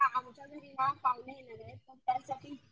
हा आमच्या घरी ना पाहुणे येणारेत तर त्याचसाठी